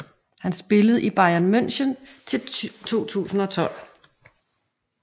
Han spillede i Bayern München til 2012